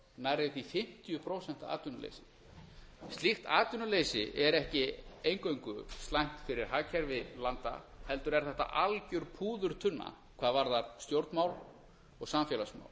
nærri því fimmtíu prósent atvinnuleysi slíkt atvinnuleysi er ekki eingöngu slæmt fyrir hagkerfi landa heldur er þetta algjör púðurtunna hvað varðar stjórnmál og samfélagsmál